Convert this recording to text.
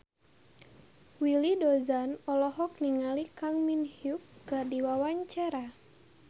Willy Dozan olohok ningali Kang Min Hyuk keur diwawancara